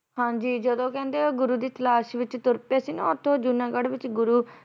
ਹਾਂਜੀ ਜਦੋ ਕਹਿੰਦੇ ਗੁਰੂ ਦੀ ਤਲਾਸ਼ ਵੀ ਤੁਰ ਪਏ ਸੀ ਨਾ ਓਥੇ ਉਹ ਜੂਨਾਗੜ੍ਹ ਵਿੱਚ ਗੁਰੂ